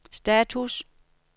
status